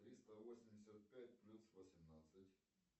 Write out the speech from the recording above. триста восемьдесят пять плюс восемьнадцать